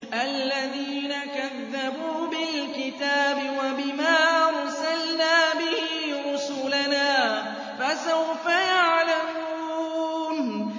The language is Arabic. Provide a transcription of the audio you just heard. الَّذِينَ كَذَّبُوا بِالْكِتَابِ وَبِمَا أَرْسَلْنَا بِهِ رُسُلَنَا ۖ فَسَوْفَ يَعْلَمُونَ